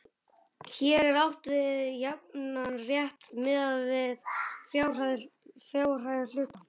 Hér er átt við jafnan rétt miðað við fjárhæð hluta.